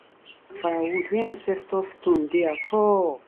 firewood where ancestor stone dey at all.